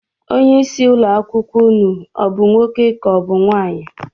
Onyeisi ụlọakwụkwọ unu ọ bụ nwoke ka ọ bụ nwaanyị?